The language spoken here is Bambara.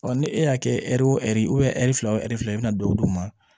ni e y'a kɛ ɛri o ɛri ɛri fila o ɛri fila i bɛ na don d'u ma